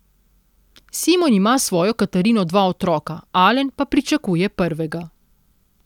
Simon ima s svojo Katarino dva otroka, Alen pa pričakuje prvega.